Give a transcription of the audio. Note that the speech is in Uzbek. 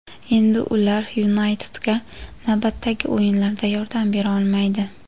Endi ular "Yunayted"ga navbatdagi o‘yinlarda yordam bera olmaydi.